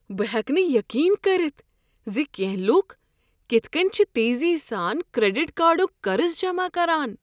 بہٕ ہیٚکہٕ نہٕ یقین کٔرتھ ز کینٛہہ لکھ کتھہٕ كٕنۍ چھِ تیزی سان کریڈٹ کارڈک قرض جمع کران۔